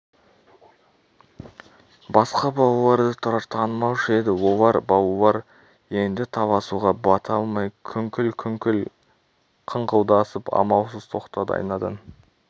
басқа балаларды тұрар танымаушы еді олар балалар енді таласуға бата алмай күңкіл-күңкіл қыңқылдасып амалсыз тоқтады айнадан